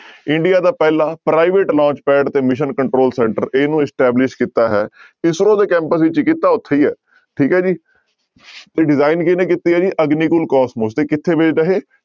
India ਦਾ ਪਹਿਲਾ private launch pad ਤੇ mission control center ਇਹਨੂੰ establish ਕੀਤਾ ਹੈ ਇਸਰੋ ਦੇ ਕੈਂਪ ਵਿੱਚ ਕੀਤਾ ਉੱਥੇ ਹੀ ਹੈ ਠੀਕ ਹੈ ਜੀ ਤੇ design ਕਿਹਨੇ ਕੀਤੀ ਹੈ ਜੀ ਅਗਨੀਕੁਲ ਕੋਸਮੋਸ ਤੇ ਕਿੱਥੇ based ਆ ਇਹ